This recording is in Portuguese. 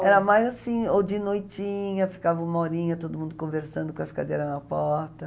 Não, era mais assim, ou de noitinha, ficava uma horinha todo mundo conversando com as cadeiras na porta.